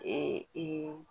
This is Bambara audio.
Ee ee